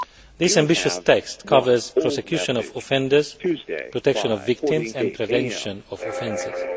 This ambitious text covers prosecution of offenders, protection of victims and prevention of offences.